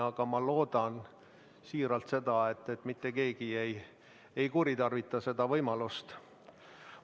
Aga ma väga loodan, et mitte keegi ei kuritarvita seda võimalust.